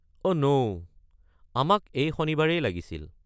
অ' ন', আমাক এই শনিবাৰেই লাগিছিল।